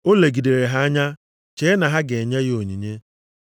O legidere ha anya chee na ha ga-enye ya onyinye.